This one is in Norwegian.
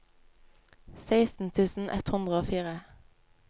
seksten tusen ett hundre og fire